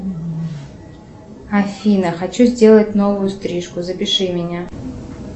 афина хочу сделать новую стрижку запиши меня